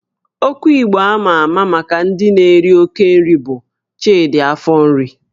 Okwu Igbo ama ama maka ndị na-eri oke nri bụ 'Chidi afọ nri'